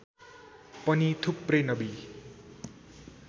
पनि थुप्रै नबी